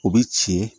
U bɛ ci